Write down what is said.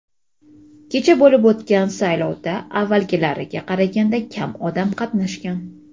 kecha bo‘lib o‘tgan saylovda avvalgilariga qaraganda kam odam qatnashgan.